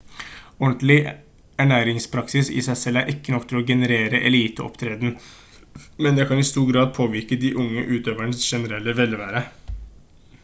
ordentlig ernæringspraksis i seg selv er ikke nok til å generere eliteopptreden men det kan i stor grad påvirke de unge utøvernes generelle velvære